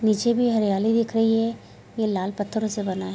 निचे भी हरियाली दिख रही है ये लाल पत्थरों से बना है।